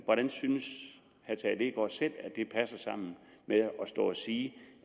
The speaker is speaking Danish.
hvordan synes herre tage leegaard selv at det passer sammen med at stå og sige